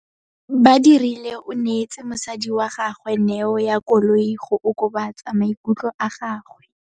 Badirile o neetse mosadi wa gagwe neô ya koloi go okobatsa maikutlo a gagwe.